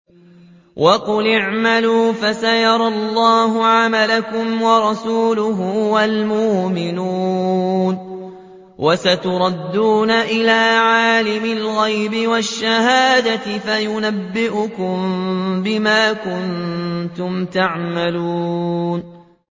وَقُلِ اعْمَلُوا فَسَيَرَى اللَّهُ عَمَلَكُمْ وَرَسُولُهُ وَالْمُؤْمِنُونَ ۖ وَسَتُرَدُّونَ إِلَىٰ عَالِمِ الْغَيْبِ وَالشَّهَادَةِ فَيُنَبِّئُكُم بِمَا كُنتُمْ تَعْمَلُونَ